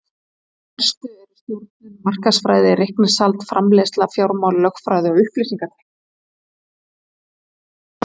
Þær helstu eru stjórnun, markaðsfræði, reikningshald, framleiðsla, fjármál, lögfræði og upplýsingatækni.